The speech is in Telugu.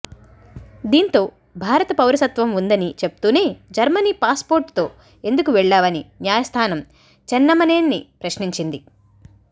దీంతో భారత పౌరసత్వం ఉందని చెప్తూనే జర్మనీ పాస్పోర్టుతో ఎందుకు వెళ్లావని న్యాయస్థానం చెన్నమనేనిని ప్రశ్నించింది